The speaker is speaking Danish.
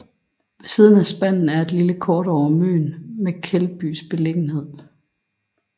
Ved siden er spanden er et lille kort over Møn med Keldbys beliggenhed